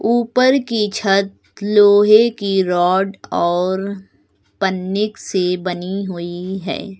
ऊपर की छत लोहे की रॉड और पन्नीक से बनी हुई है।